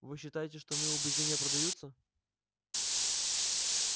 вы считаете что мои убеждения продаются